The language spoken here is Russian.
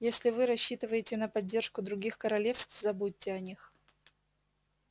если вы рассчитываете на поддержку других королевств забудьте о них